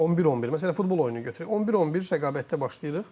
11-11, məsələn futbol oyunu götürək, 11-11 rəqabətdə başlayırıq.